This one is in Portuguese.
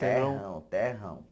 Terrão, terrão.